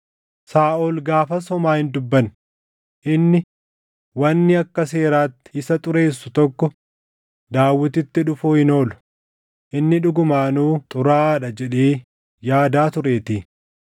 Saaʼol gaafas homaa hin dubbanne; inni, “Wanni akka seeraatti isa xureessu tokko Daawititti dhufuu hin oolu; inni dhugumaanuu xuraaʼaa dha” jedhee yaadaa tureetii.